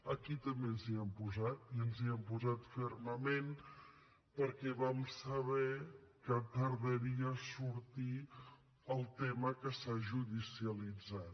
aquí també ens hi hem posat i ens hi hem posat fermament perquè vam saber que tardaria a sortir el tema que s’ha judicialitzat